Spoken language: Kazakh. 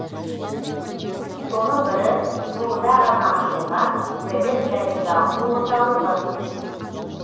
соның бірі жуырда ғана ашылған білім және даму орталығы